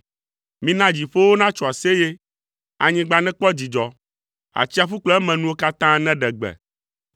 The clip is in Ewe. Mina dziƒowo natso aseye, anyigba nekpɔ dzidzɔ, atsiaƒu kple emenuwo katã neɖe gbe,